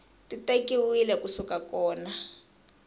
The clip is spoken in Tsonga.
ti tekiwile ku suka kona